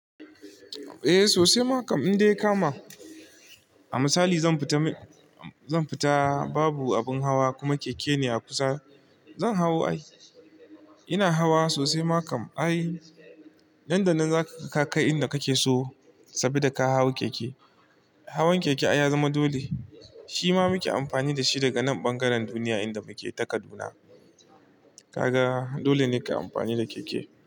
Eh sosai, ma kam in dai ya kama. A misali zan fita zan fita babu abun hawa kuma keke ne a kusa, zan hawo ai. Ina hawa sosai ma kam ai. Nan da nan za ka kai inda kake so sabida ka hau keke. Hawan keke ai ya zama dole, shi ma muke amfani da shi daga nan ɓangaren duniya inda muke ta Kaduna. Kaga dole ne kai amfani da keke.